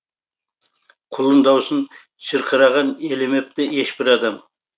құлын даусын шырқыраған елемепті ешбір адам